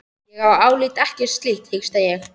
Ég álít ekkert slíkt, hiksta ég.